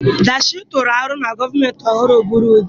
Dash, tụrụ aro ka gọọmentị ọhụrụ bụrụ ụdị